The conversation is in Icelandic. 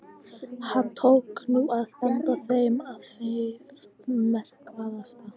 Hann tók nú að benda þeim á það markverðasta.